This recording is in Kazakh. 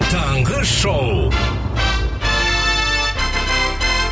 таңғы шоу